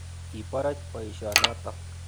Iporoch poisyo notok.